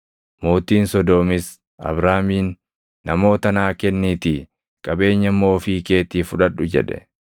Mootiin Sodoomis Abraamiin, “Namoota naa kenniitii qabeenya immoo ofii keetii fudhadhu” jedhe.